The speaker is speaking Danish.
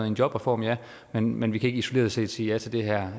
en jobreform ja men men vi kan ikke isoleret set sige ja til det her